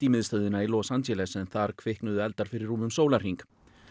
miðstöðina í Los Angeles en þar kviknuðu eldar fyrir rúmum sólarhring